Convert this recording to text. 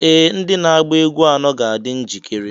Ee! ndị na-agba egwú anọ ga-adị njikere